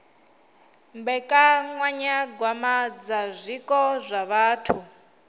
mbekanyagwama dza zwiko zwa vhathu